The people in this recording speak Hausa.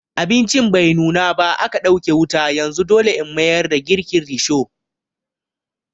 Abincin bai nuna ba aka ɗauke wuta yanzu dole In mayar da girkin risho.